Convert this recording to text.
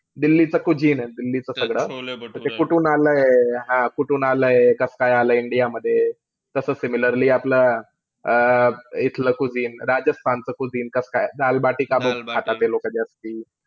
दिल्लीचं cuisine आहे दिल्लीचं सगळं. त ते कुठून आलंय हा, कुठून आलंय, कसं-काय आलंय इंडियामध्ये. कस similarly आपलं अं इथलं cuisine राजस्थानचं cuisine कसं-काय, दाल-बाटी काबं खाता ते लोकं जास्ती.